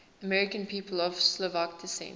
american people of slovak descent